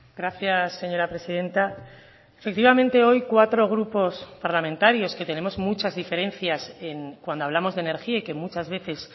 gracias señora presidenta efectivamente hoy cuatro grupos parlamentarios que tenemos muchas diferencias cuando hablamos de energía y que muchas veces